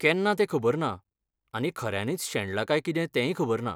केन्ना तें खबर ना आनी खऱ्यांनीच शेणला काय कितें तेंय खबर ना.